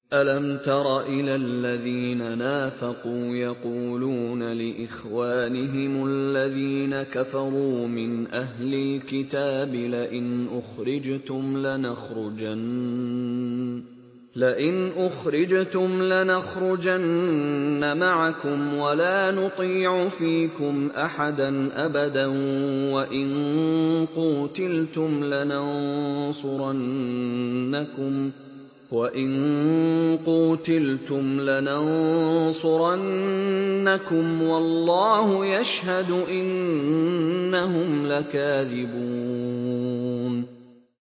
۞ أَلَمْ تَرَ إِلَى الَّذِينَ نَافَقُوا يَقُولُونَ لِإِخْوَانِهِمُ الَّذِينَ كَفَرُوا مِنْ أَهْلِ الْكِتَابِ لَئِنْ أُخْرِجْتُمْ لَنَخْرُجَنَّ مَعَكُمْ وَلَا نُطِيعُ فِيكُمْ أَحَدًا أَبَدًا وَإِن قُوتِلْتُمْ لَنَنصُرَنَّكُمْ وَاللَّهُ يَشْهَدُ إِنَّهُمْ لَكَاذِبُونَ